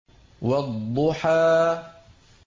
وَالضُّحَىٰ